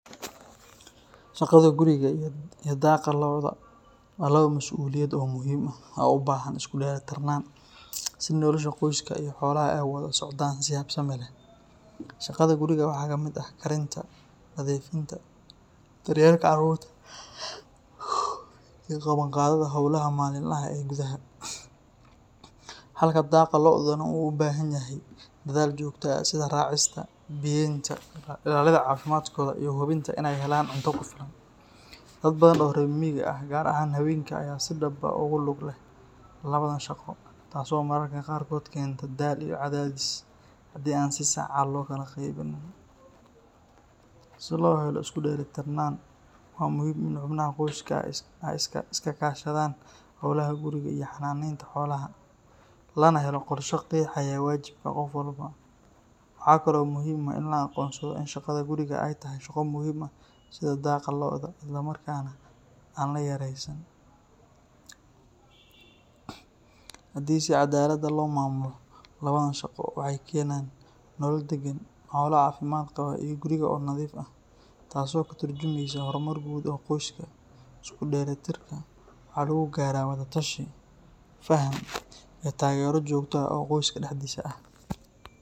Shaqada guriga iyo daaqa lo’da waa laba masuuliyadood oo muhiim ah oo u baahan isku dheelitirnaan si nolosha qoyska iyo xoolaha ay u wada socdaan si habsami leh. Shaqada guriga waxaa ka mid ah karinta, nadiifinta, daryeelka carruurta, iyo qabanqaabada hawlaha maalinlaha ah ee gudaha, halka daaqa lo’duna uu u baahan yahay dadaal joogto ah sida raacista, biyeynta, ilaalinta caafimaadkooda iyo hubinta in ay helaan cunto ku filan. Dad badan oo reer miyiga ah gaar ahaan haweenka ayaa si dhab ah ugu lug leh labadan shaqo, taas oo mararka qaarkood keenta daal iyo cadaadis hadii aan si sax ah loo kala qaybinin. Si loo helo isku dheelitirnaan, waa muhiim in xubnaha qoyska ay iska kaashadaan hawlaha guriga iyo xanaaneynta xoolaha, lana helo qorshe qeexaya waajibaadka qof walba. Waxaa kale oo muhiim ah in la aqoonsado in shaqada guriga ay tahay shaqo muhiim ah sida daaqa lo’da, isla markaana aan la yareysan. Haddii si caddaalad ah loo maamulo, labadan shaqo waxay keenaan nolol deggan, xoolo caafimaad qaba, iyo guriga oo nadiif ah, taas oo ka tarjumeysa horumar guud oo qoyska. Isku dheelitirka waxaa lagu gaaraa wada tashi, faham, iyo taageero joogto ah oo qoyska dhexdiisa ah.